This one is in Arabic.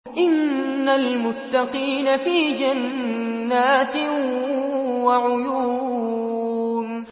إِنَّ الْمُتَّقِينَ فِي جَنَّاتٍ وَعُيُونٍ